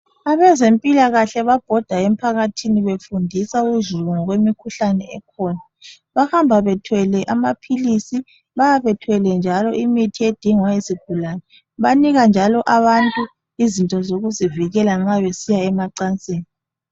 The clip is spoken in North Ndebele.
Abezempilakahle babhoda emphakathini befundisa uzulu ngokwemikhuhlane esikhona. Bahamba bethwele amaphilisi, bayabe bethwele njalo imithi edingwa yisigulane. Banika njalo abantu izinto zokuzivikela nxa besiya emacansini.